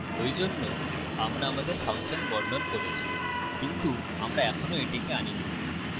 ওইজন্যে আমরা আমাদের ফাংশন বর্ণন করেছি কিন্তু আমরা এখনও এটিকে আনিনি